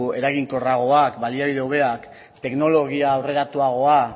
eraginkorragoak baliabide hobeak teknologia aurreratuagoa